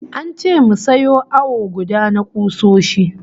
An ce mu sayo awo guda na kusoshin